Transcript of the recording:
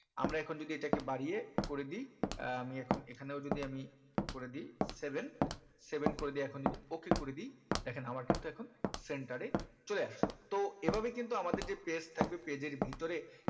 আমরা এখন যদি এটাকে বাড়িয়ে করে দি আহ আমি এখন এখানেও যদি আমি করে দি seven seven করে দিয়ে এখন যদি ok করে দি দেখেন আমার কিন্তু এখন center এ চলে আসলো তো এই ভাবে কিন্তু আমাদের যে page থাকবে page এর ভিতরে